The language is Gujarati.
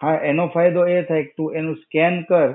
હા, એનો ફાયદો એ થાય કે તું એનું scan કર,